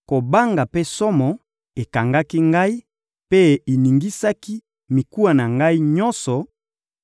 kobanga mpe somo ekangaki ngai mpe eningisaki mikuwa na ngai nyonso;